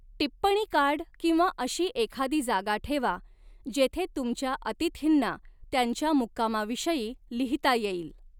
टिप्पणी कार्ड किंवा अशी एखादी जागा ठेवा, जेथे तुमच्या अतिथींना त्यांच्या मुक्कामाविषयी लिहिता येईल.